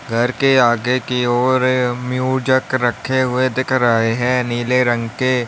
घर के आगे की ओर रखे हुए दिख रहे हैं नीले रंग के।